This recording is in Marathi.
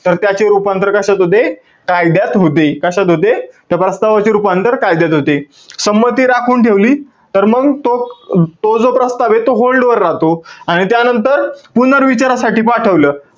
तर त्याचे रूपांतर कशात होते? कायद्यात होते. कशात होते? त्या प्रस्तावाचे रूपांतर कायद्यात होते. संमती राखून ठेवली तर मंग तो, तो जो प्रस्तावे तो hold वर राहतो. आणि त्यानंतर पुनर्विचारासाठी पाठवल,